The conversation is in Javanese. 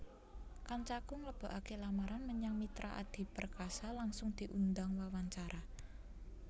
Kancaku nglebokake lamaran menyang Mitra Adi Perkasa langsung diundang wawancara